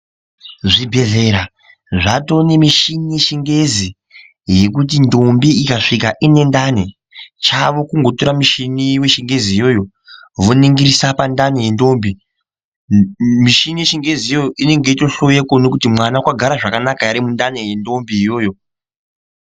Zvibhedhlera zvatonemichini yechingezi yekuti ndombi ikazvika iine ndani chavo kunotora michini yechingezi iyoyo voningirisa pandani yendombi ,michini yechingezi iyoyo inenge yeitohloye kuona kuti mwana wakagara zvakanaka ere mundani yendombi iyoyo.